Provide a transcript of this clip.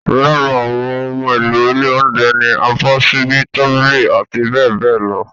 Lára àwọn ohun èlò ilé oúnjẹ ni abọ́, ṣíbí, tábìlì, abbl.